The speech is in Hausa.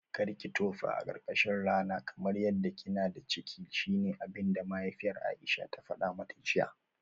Karki tofa a karkashin rana kamar yadda kina da ciki shine abinda mahaifiyar Aisha ta fada mata jiya?